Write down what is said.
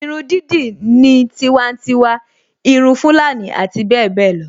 Irun dídì ní tiwantiwa, irun Fulani abbl